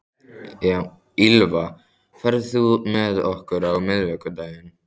Ýlfa, ferð þú með okkur á miðvikudaginn?